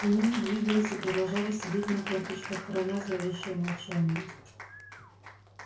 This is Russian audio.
они не двигались и продолжали сидеть на корточках храня зловещее молчание